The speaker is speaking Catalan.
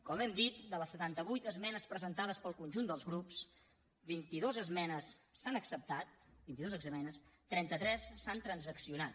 com hem dit de les setanta vuit esmenes presentades pel conjunt dels grups vinti dues esmenes s’han acceptat vint i dues esmenes trenta tres s’han transaccionat